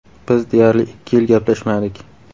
Biz deyarli ikki yil gaplashmadik.